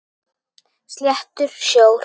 Sléttur sjór.